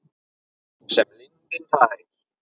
Sem lindin tær.